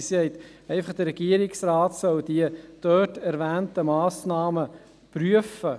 Sie sagt, der Regierungsrat solle die dort erwähnten Massnahmen prüfen.